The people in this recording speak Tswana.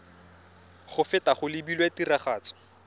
go feta go lebilwe tiragatso